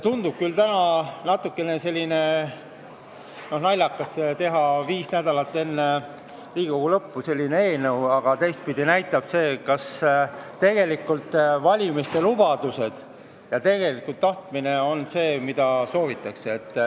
Tundub küll natukene naljakas teha viis nädalat enne Riigikogu lõppu selline eelnõu, aga teistpidi näitab see, kas valimislubadused väljendavad tegelikult seda, mida soovitakse.